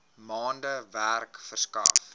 maande werk verskaf